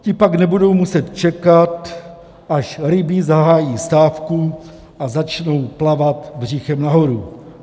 Ti pak nebudou muset čekat, až ryby zahájí stávku a začnou plavat břichem nahoru.